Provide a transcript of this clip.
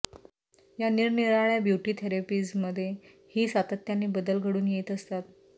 या निरनिराळ्या ब्युटी थेरपीजमध्ये ही सातत्याने बदल घडून येत असतात